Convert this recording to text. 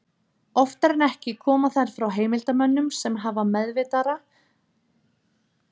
Oftar en ekki koma þær frá heimildarmönnum sem hafa meðvitaðra eða ómeðvitaðra hagsmuna að gæta.